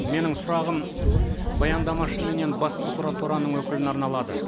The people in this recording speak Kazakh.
менің сұрағым баяндамашы менен бас прокуратураның өкіліне арналады